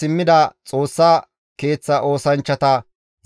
Era7aye, Eraasoone, Neqoda,